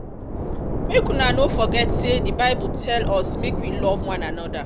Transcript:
make una no forget say the bible um tell um us make we love one another